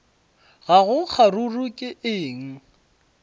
ga go kgaruru ke eng